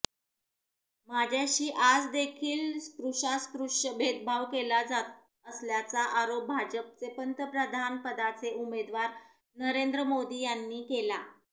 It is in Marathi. माझ्याशी आजदेखील स्पृश्यास्पृश्य भेदाभेद केला जात असल्याचा आरोप भाजपचे पंतप्रधानपदाचे उमेदवार नरेंद्र मोदी यांनी केला